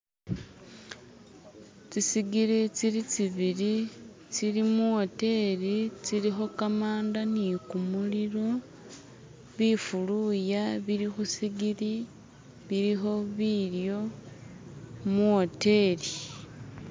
Tsi'sigiri tsili tsibili tsili muwoteli tsilikho kamanda nikumulilo, bifuluya bili khusigili, bilikho bilyo muwoteli.